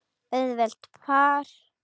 Auðvelt par!